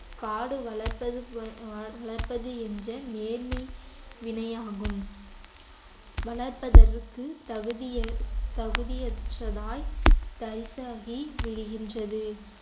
காடு வளர்ப்பது வளர்ப்பது என்ற நேர்மை வினையாகும் வளர்ப்பதற்கு தகுதிய~ தகுதியற்றதாய் தரிசாகி விழுகின்றது